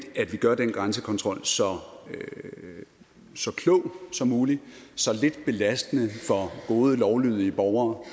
at vi gør den grænsekontrol så klog som muligt så lidt belastende for gode lovlydige borgere